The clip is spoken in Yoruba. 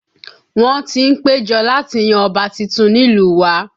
Wọ́n ti ń péjọ láti yan ọba tuntun nílùú wa